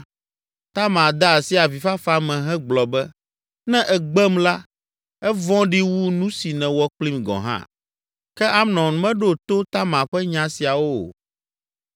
Tamar de asi avifafa me hegblɔ be, “Ne ègbem la, evɔ̃ɖi wu nu si nèwɔ kplim gɔ̃ hã.” Ke Amnon meɖo to Tamar ƒe nya siawo o.